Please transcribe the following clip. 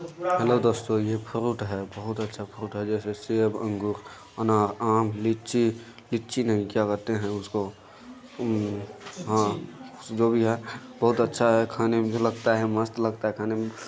Hello दोस्तों fruit है बहुत अच्छा फ्रूट है जेसे सेबअंगूरअनारआमलीचीलीची नहीं क्या बोलते इसको उम अ जो भी है बहुत अच्छा है खाने मे मुजे लगत है मस्त लगता है खाने मे।